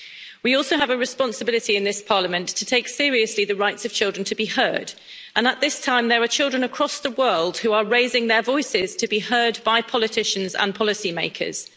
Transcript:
We also have a responsibility in this Parliament to take seriously the rights of children to be heard and at this time, there are children across the world who are raising their voices to be heard by politicians and policy makers.